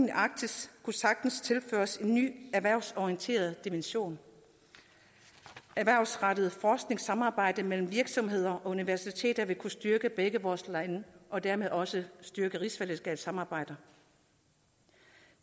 i arktis kunne sagtens tilføres en ny erhvervsorienteret dimension erhvervsrettet forskningssamarbejde mellem virksomheder og universiteter vil kunne styrke begge vores lande og dermed også styrke rigsfællesskabssamarbejder